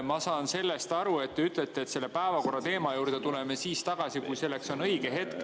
Ma saan aru, et te ütlete, et päevakorrateema juurde tuleme tagasi siis, kui selleks on õige hetk.